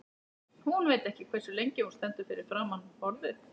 Hún veit ekki hversu lengi hún stendur fyrir framan borðið.